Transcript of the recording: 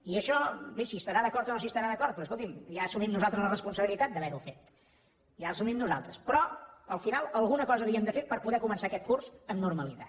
i això bé s’hi estarà d’acord o no s’hi estarà d’acord però escolti’m ja assumim nosaltres la responsabilitat d’haver ho fet ja l’assumim nosaltres però al final alguna cosa havíem de fer per poder començar aquest curs amb normalitat